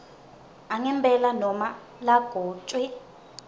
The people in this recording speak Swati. angempela nobe lagcotjwe